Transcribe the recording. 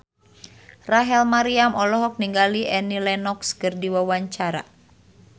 Rachel Maryam olohok ningali Annie Lenox keur diwawancara